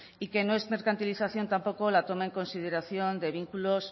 y que no es mercantilización tampoco la toma en consideración de vínculos